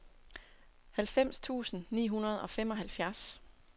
halvfems tusind ni hundrede og femoghalvfjerds